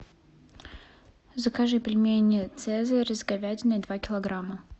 закажи пельмени цезарь с говядиной два килограмма